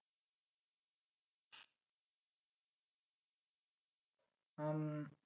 উম